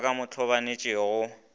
ba ke mo hlabanetše go